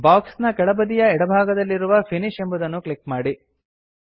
box ನ ಕೆಳಬದಿಯ ಎಡಭಾಗದಲ್ಲಿರುವ ಫಿನಿಶ್ ಎಂಬುದನ್ನು ಕ್ಲಿಕ್ ಮಾಡಿ